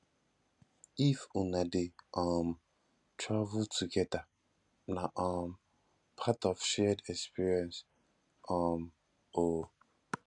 if una dey um travel togeda na um part of shared experience um o